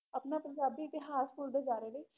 ਆਪਣਾ ਪੰਜਾਬੀ ਇਤਿਹਾਸ ਭੁੱਲਦੇ ਜਾ ਰਹੇ ਨੇ।